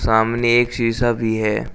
सामने एक शीशा भी है।